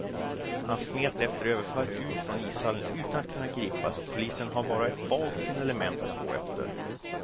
Han smet efter överfallet ut från ishallen utan att kunna gripas och polisen har bara ett vagt signalement att gå efter.